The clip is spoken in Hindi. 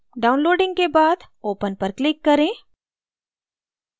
downloading के बाद open पर click करें